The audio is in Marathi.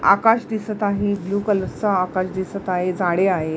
आकाश दिसत आहे ब्लू कलर च आकाश दिसत आहे झाडे आहे.